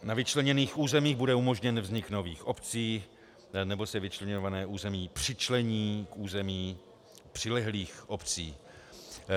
Na vyčleněných územích bude umožněn vznik nových obcí nebo se vyčleňované území přičlení k území přilehlých obcí.